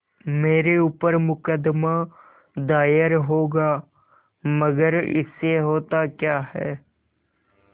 मेरे ऊपर मुकदमा दायर होगा मगर इससे होता क्या है